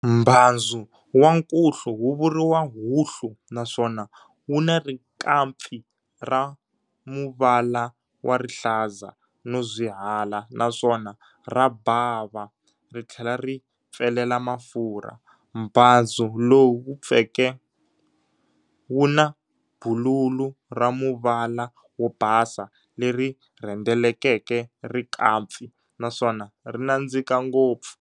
Mbhanzu wa nkuhlu wuvuriwa Huhlu naswona wuna rikampfi ra muvala warihlazarozwihala naswona rabhava rithlela ripfelela mafurha. Mbhazu lowu vupfeke wuna bululu ramuvala wobhasa lerirhendeleke rikampfi, naswona rinadzika ngopfu.